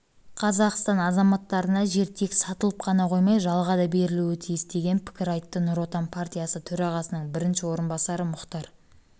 қазақстан азаматтарына жер тек сатылып қана қоймай жалға да берілуі тиіс деген пікір айтты нұр отан партиясы төрағасының бірінші орынбасары мұхтар